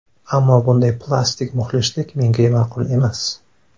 Ammo bunday ‘plastik’ muxlislik menga ma’qul emas.